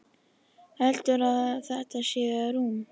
Heldurðu að þetta sé rúm?